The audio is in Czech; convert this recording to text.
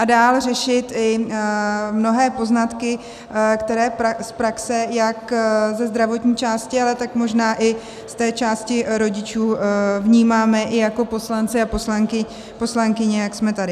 A dále řešit i mnohé poznatky, které z praxe jak ze zdravotní části, ale tak možná i z té části rodičů vnímáme i jako poslanci a poslankyně, jak jsme tady.